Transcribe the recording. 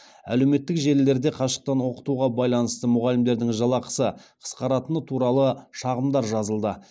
әлеуметтік желілерде қашықтан оқытуға байланысты мұғалімдердің жалақысы қысқаратыны туралы шағымдар жазылды